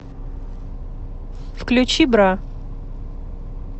включи бра